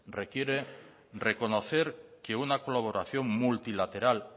requiere reconocer que una colaboración multilateral